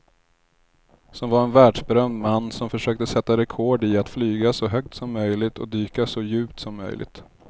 Som var en världsberömd man som försökte sätta rekord i att flyga så högt som möjligt och dyka så djupt som möjligt.